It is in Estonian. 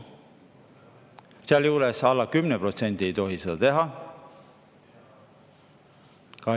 Alla 10% ei tohi seda teha.